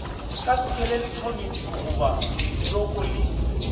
ka skeletone diogoba bjoko le